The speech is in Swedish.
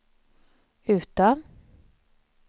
Utö